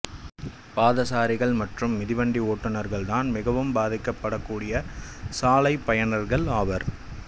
பாதசாரிகள் மற்றும் மிதிவண்டி ஓட்டுனர்கள்தான் மிகவும் பாதிக்கப்படக்கூடிய சாலைப்பயனர்கள் ஆவர்